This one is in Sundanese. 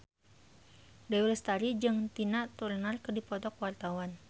Dewi Lestari jeung Tina Turner keur dipoto ku wartawan